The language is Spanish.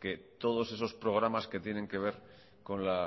que todos esos programas que tienen que ver con la